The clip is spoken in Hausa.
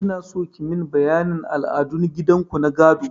Inaso kimin bayanin al'adun gidan ku na gado.